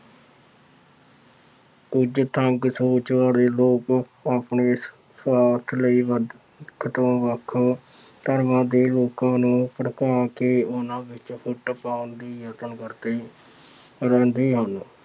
ਕੁੱਝ ਤੰਗ ਸੋਚ ਵਾਲੇ ਲੋਕ ਆਪਣੇ ਸੁਆਰਥ ਲਈ ਵੱਖ ਤੋਂ ਵੱਖ ਧਰਮਾਂ ਦੇ ਲੋਕਾਂ ਨੂੰ ਭੜਕਾ ਕੇ ਉਹਨਾ ਵਿੱਚ ਫੁੱਟ ਪਾਉਣ ਲਈ ਯਤਨ ਕਰਦੇ ਰਹਿੰਦੇ ਹਨ।